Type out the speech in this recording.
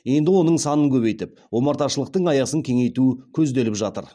енді оның санын көбейтіп омарташылықтың аясын кеңейту көзделіп жатыр